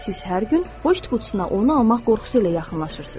Siz hər gün poçt qutusuna onu almaq qorxusu ilə yaxınlaşırsınız.